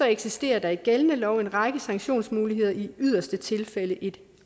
eksisterer der i gældende lov en række sanktionsmuligheder i yderste tilfælde et